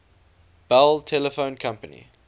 bell telephone company